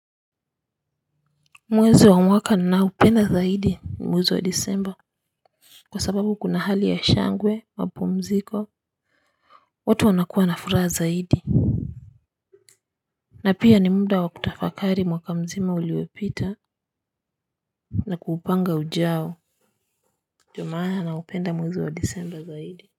Mwezi wa mwaka ninaupenda zaidi ni mwezi wa Disemba. Kwa sababu kuna hali ya shangwe mapumziko. Watu wanakuwa na furaha zaidi. Na pia ni muda wa kutafakari mwaka mzima uliopita na kuupanga ujao. Ndio maana naupenda mwezi wa Disemba zaidi.